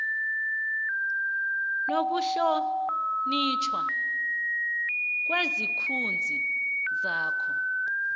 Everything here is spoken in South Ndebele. nokuhlonitjhwa kwesithunzi sakho